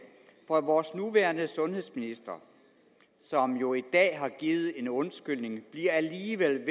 for vores nuværende sundhedsminister som jo i dag har givet en undskyldning bliver alligevel